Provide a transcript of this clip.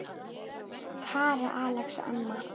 Kara, Alex og Emma.